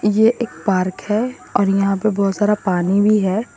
ये एक पार्क है और यहां पे बहोत सारा पानी भी है।